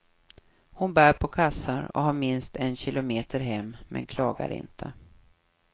Hon bär på kassar och har minst en kilometer hem, men klagar inte.